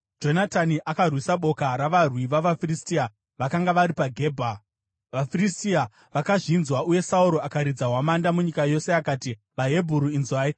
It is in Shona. Jonatani akarwisa boka ravarwi vavaFiristia vakanga vari paGebha, vaFiristia vakazvinzwa. Uye Sauro akaridza hwamanda munyika yose akati, “VaHebheru, inzwai!”